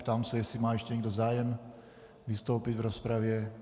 Ptám se, jestli má ještě někdo zájem vystoupit v rozpravě.